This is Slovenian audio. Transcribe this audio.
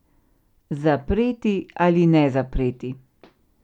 Zapreti ali ne zapreti?